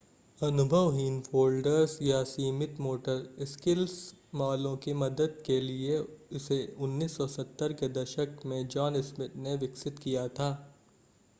अनुभवहीन folders या सीमित motor skills वालों की मदद के लिए इसे 1970 के दशक में जॉन स्मिथ ने विकसित किया था